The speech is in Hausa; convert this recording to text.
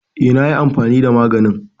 Eh na yi amfani da maganin.